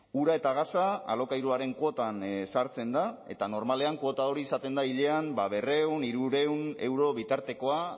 ura eta gasa alokairuaren kuotan sartzen da eta normalean kuota hori izaten da hilean berrehun hirurehun euro bitartekoa